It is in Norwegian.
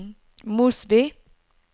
Mosby